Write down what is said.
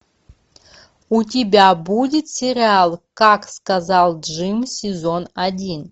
у тебя будет сериал как сказал джим сезон один